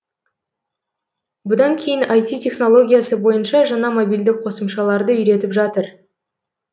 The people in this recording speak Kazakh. бұдан кейін айти технологиясы бойынша жаңа мобильдік қосымшаларды үйретіп жатыр